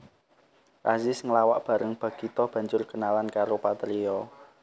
Azis nglawak bareng Bagito banjur kenalan karo Patrio